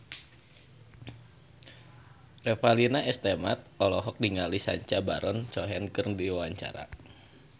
Revalina S. Temat olohok ningali Sacha Baron Cohen keur diwawancara